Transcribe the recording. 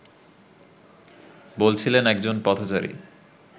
বলছিলেন একজন পথচারী